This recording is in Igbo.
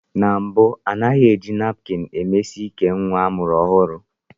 Na mbụ, a na-eji napkini emesi íkè nwa amụrụ ọhụrụ.